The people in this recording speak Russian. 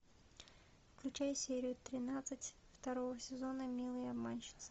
включай серию тринадцать второго сезона милые обманщицы